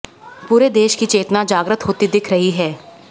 पूरे देश की चेतना जाग्रत होती दिख रही है